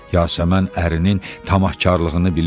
Yasəmən ərinin tamahkarlığını bilirdi.